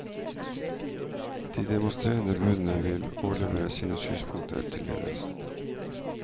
De demonstrerende budene vil overlevere sine synspunkter til ledelsen.